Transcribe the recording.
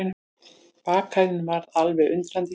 Bakarinn varð alveg undrandi.